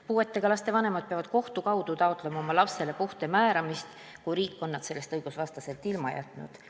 Puuetega laste vanemad peavad kohtu kaudu taotlema lapsele puude määramist, kui riik on nad sellest õigusvastaselt ilma jätnud.